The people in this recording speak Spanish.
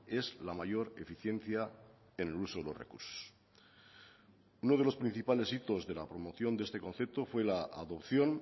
es la mayor eficiencia en el uso de los recursos uno de los principales hitos de la promoción de este concepto fue la adopción